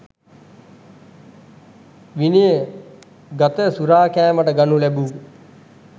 විනය ගත සුරාකෑමට ගනු ලැබූ